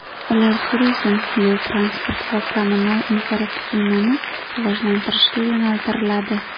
Ular turizm, yo‘l-transport va kommunal infratuzilmani rivojlantirishga yo‘naltiriladi.